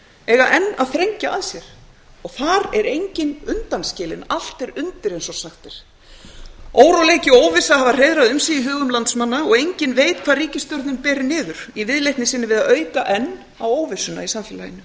eiga enn að þrengja að sér og þar er enginn undanskilinn allt er undir eins og sagt er óróleiki og óvissa hafa hreiðrað um sig í hugum landsmanna og enginn veit hvar ríkisstjórnin ber niður í viðleitni sinni við að auka enn á óvissuna í samfélaginu